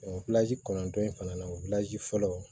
kɔnɔntɔn in fana na o fɔlɔ